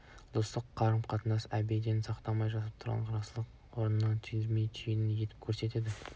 достық қарым-қатынас әдебін сақтап жамандығын жасырып жақсылығын асырудың орнына түймедейді түйедей етіп көрсетеді